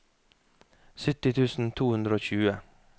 sytti tusen to hundre og tjue